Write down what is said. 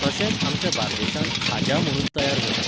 तशेंंच आमच्या बार्देशांत खाज्या म्हणून तयार जातात.